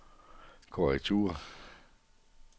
korrektur